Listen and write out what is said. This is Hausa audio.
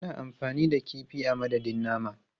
Ana amfani da kifi a madadin nama.